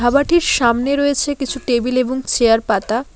ধাবাটির সামনে রয়েছে কিছু টেবিল এবং চেয়ার পাতা।